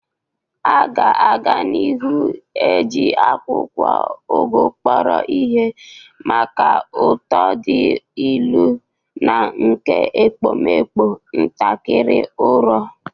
A ga-aga n'ihu na-eji akwụkwọ Ugu kpọrọ ihe maka ụtọ dị ilu na nke ekpomekpo ntakịrị uro.